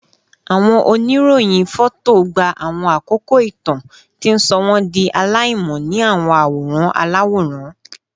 Awọn oniroyin fọto gba awọn akoko itan, ti n sọ wọn di alaimọ ni awọn aworan alaworan